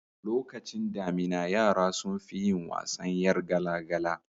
Lokacin damina yara sunfi yin wasan yar gala gala